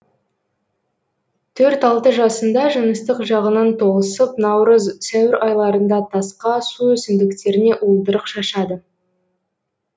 төрт алты жасында жыныстық жағынан толысып наурыз сәуір айларында тасқа су өсімдіктеріне уылдырық шашады